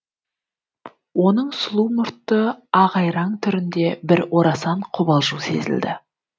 оның сұлу мұртты ағайраң түрінде бір орасан қобалжу сезілді